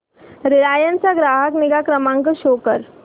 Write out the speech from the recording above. Reliance चा ग्राहक निगा क्रमांक शो कर